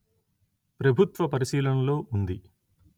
ప్రభుత్వ పరిశీలనలో ఉంది